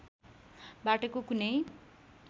बाटोको कुनै